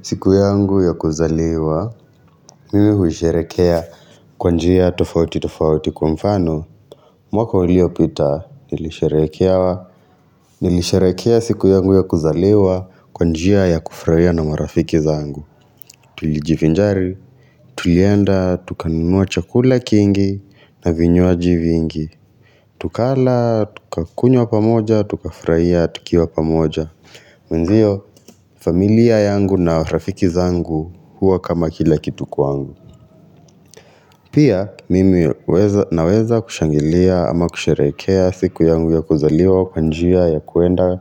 Siku yangu ya kuzaliwa, mimi huisherekea kwa njia tofauti tofauti kwa mfano, mwaka uliopita, nilisherekea Nilisherekea siku yangu ya kuzaliwa kwa njia ya kufurahia na marafiki zangu Tulijivinjari, tulienda, tukanunua chakula kingi na vinywaji vingi Tukala, tukakunywa pamoja, tukafurahia, tukiwa pamoja na ndio familia yangu na rafiki zangu huwa kama kila kitu kwangu pia mimi weza naweza kushangilia ama kusherekea siku yangu ya kuzaliwa kwa njia ya kwenda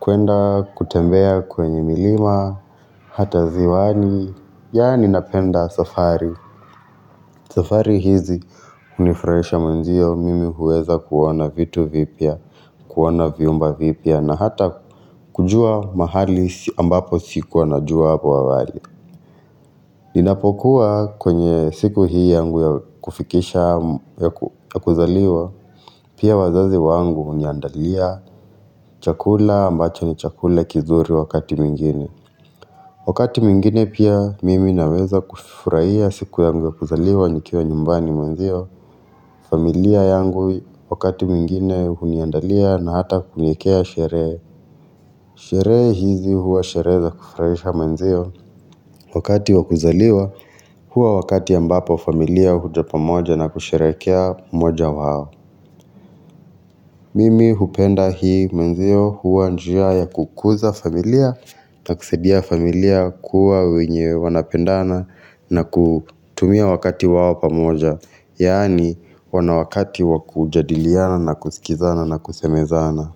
kwenda kutembea kwenye milima hata ziwani yaani napenda safari. Safari hizi hunifurahisha manzio mimi huweza kuona vitu vipya, kuona viumba vipya na hata kujua mahali ambapo sikua najua hapa awali. Ninapokuwa kwenye siku hii yangu ya kufikisha ya yakuzaliwa, pia wazazi wangu huniandalia chakula ambacho ni chakula kizuri wakati mwingine. Wakati mwngine pia mimi naweza kufurahia siku yangu ya kuzaliwa nikiwa nyumbani manzio, familia yangu wakati mwingine huniandalia na hata kuniekea sherehe, sherehe hizi huwa sherehe za kufurahisha manzio, wakati wakuzaliwa huwa wakati ambapo familia huja pamoja na kusherekea mmoja wao. Mimi hupenda hii menzio hua njia ya kukuza familia, taksidia familia kuwa wenye wanapendana na kutumia wakati wao pamoja, yaani wana wakati wakujadiliana na kusikizana na kusemezana.